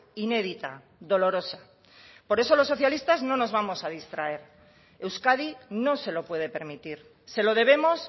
inédita dolorosa por eso los socialistas no nos vamos a distraer euskadi no se lo puede permitir se lo debemos